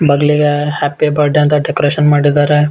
ಬಗಲಿಗೆ happy birthday ಅಂತ decoration ಮಾಡಿದ್ದಾರೆ.